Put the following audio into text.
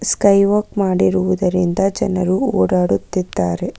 Sky walk ಮಾಡಿರುವುದರಿಂದ ಜನರು ಓಡಾಡುತ್ತಿದ್ದಾರೆ.